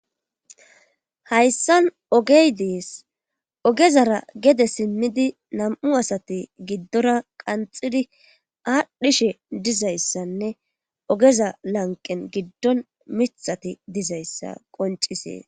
hayssan ogey dees ogezara gede simmidi nam7u asati giddora qanxidi aadhdhishe dizayssanne ogeza lanqen giddon mithati dizayssa qoncisees